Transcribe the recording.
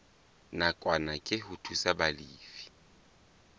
nakwana ke ho thusa balefi